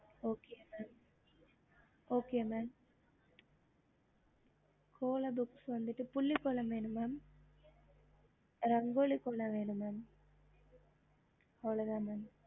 அந்தமாரி உங்களுக்கு நேரிய இருக்கு உங்களுக்கு எந்த மாரி வேணும் புள்ளி கோலம் வேணும் ரங்கோலி கோலம் வேணும் mam